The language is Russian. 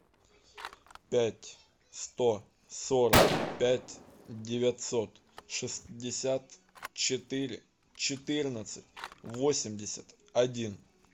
пять сто сорок пять девятьсот шестьдесят четыре четырнадцать восемьдесят один